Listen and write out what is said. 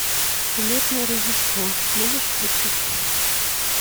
улетное рождество можешь включить